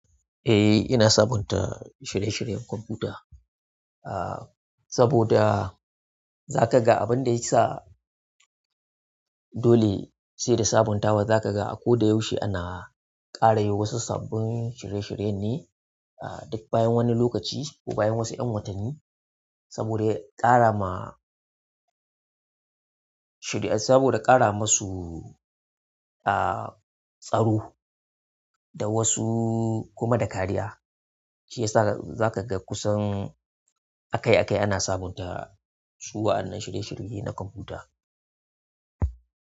Eh, ina sabunta shirye-shiryen kwamfuta, ah, saboda za kaga abin da ya sa dole sai da sabuntawa. Za ka ga a ko da yaushe ana ƙara yi wasu sabbin shirye-shirye ne, ah, duk bayan wani lokaci ko bayan wasu 'yan watanni. Saboda ƙara ma shirye, saboda ƙara masu, ah, tsaro da wasu kuma da kariya, shi ya sa za ka ga kusan akai-akai ana sabunta su wa'annan shirye-shirye na kwamfuta.